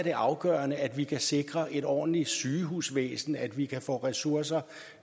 det afgørende at vi kan sikre et ordentligt sygehusvæsen at vi kan få ressourcer